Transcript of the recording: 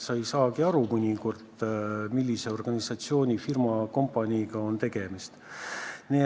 Mõnikord ei saagi aru, millise organisatsiooni, firma, kompaniiga on tegemist.